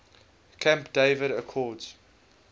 camp david accords